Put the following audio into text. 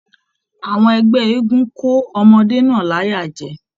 Àwọn ẹgbẹ eégún ko ọmọde náà l'aya jẹ.